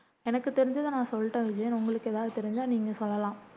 எனக்கு தெரிஞ்சதை நான் சொல்லிட்டேன் விஜயன் உங்களுக்கு எதாவது தெரிஞ்சா நீங்க சொல்லலாம்